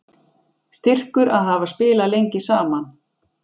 Styrkur að hafa spilað lengi saman